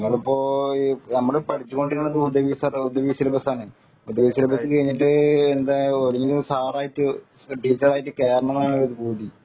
നമ്മൾ ഇപ്പൊ പഠിച്ചുകൊണ്ടിരിക്കുന്നത് കഴിഞ്ഞിട്ട് സാറായിട്ട് ടീച്ചറായിട്ട് കേറണം എന്നാണ് ഒരു പൂതി